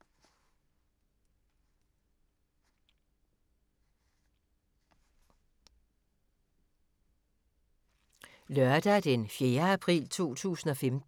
Lørdag d. 4. april 2015